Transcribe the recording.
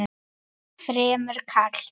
Fremur kalt.